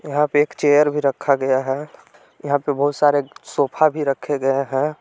यहां पे एक चेयर भी रखा गया है यहां पे बहुत सारे एक सोफा भी रखे गए हैं।